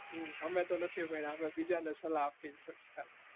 અમે તો નથી ભણ્યા બીજા ને સલાહ આપ્યે છે.